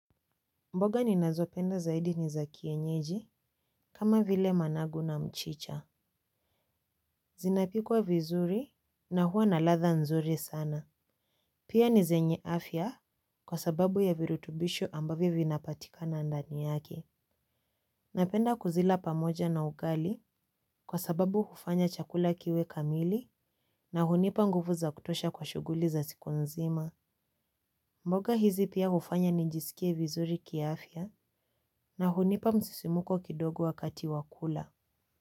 Mboga ninazopenda zaidi ni za kienyeji kama vile managu na mchicha. Zinapikwa vizuri na huwa na ladhaa nzuri sana. Pia ni zenye afya kwa sababu ya virutubisho ambavyo vinapatikana ndani yake. Napenda kuzila pamoja na ugali kwa sababu hufanya chakula kiwe kamili na hunipa nguvu za kutosha kwa shughuli za siku nzima. Mboga hizi pia hufanya nijisikie vizuri kiafya na hunipa msisimuko kidogo wakati wa kula.